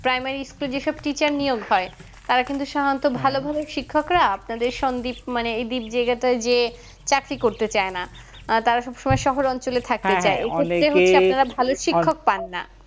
primary school এ যেসব teacher নিয়োগ হয় তারা কিন্তু সাধারণত ভালো ঘরের শিক্ষক রা আপনাদের সন্দ্বীপ মানে এই দ্বীপ জায়গাটাই যে চাকরি করতে চাই না তারা সব সময় শহরাঞ্চলে থাকতে চাই এক্ষেত্রে হচ্ছে আপনারা ভালো শিক্ষক পান না